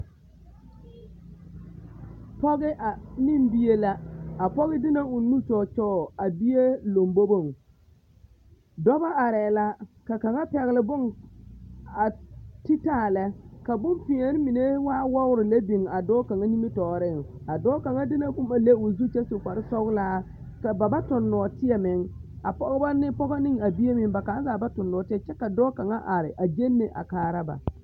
Pɔge a ne bie la, a pɔge de na o nu kyɔɔ kyɔɔ a bie lomboboŋ, dɔbɔ arɛɛ la ka kaŋa pɛgele bone a ti taa lɛ, ka bompeɛne mine waa wɔgere lɛ biŋ a dɔɔ kaŋa nimitɔɔreŋ, a dɔɔ kaŋa de na boma le o zu kyɛ su kpare sɔgelaa kyɛ ba ba toŋ nɔɔteɛ meŋ, a pɔge ne a bie meŋ ba kaŋa zaa ba toŋ nɔɔteɛ kyɛ ka dɔɔ are a genne a kaara ba.